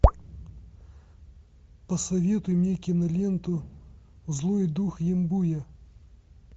посоветуй мне киноленту злой дух ямбуя